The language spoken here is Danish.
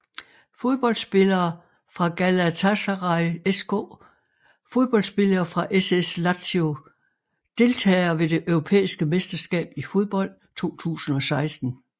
Fodboldspillere fra Galatasaray SK Fodboldspillere fra SS Lazio Deltagere ved det europæiske mesterskab i fodbold 2016